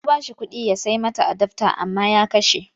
Ta ba shi kuɗi ya sai mata adafta amma ya kashe.